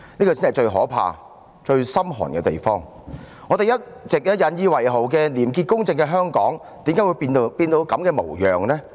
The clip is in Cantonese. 為何我們一直引以為傲的廉潔公正的香港，今天竟會變成這種模樣？